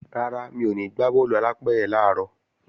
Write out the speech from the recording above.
Rárá, mi ò ní gbá bọ́ọ̀lù alápẹ̀rẹ̀ làárọ̀